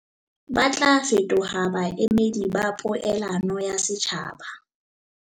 Ba tla fetoha baemedi ba poelano ya setjhaba.